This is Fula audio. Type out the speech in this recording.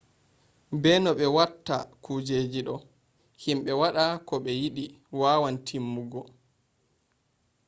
be no be watta kujeji do himbe wada ko be yidi wawan timmugo